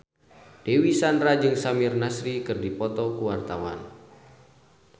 Dewi Sandra jeung Samir Nasri keur dipoto ku wartawan